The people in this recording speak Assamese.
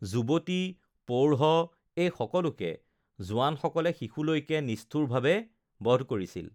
যুৱতী, প্ৰৌঢ়া, এই সকলোকে জোৱানসকলে শিশুলৈকে নিষ্ঠুৰভাৱে বধ কৰিছিল